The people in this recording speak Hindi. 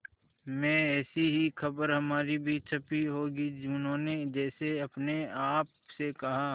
में ऐसी ही खबर हमारी भी छपी होगी उन्होंने जैसे अपने आप से कहा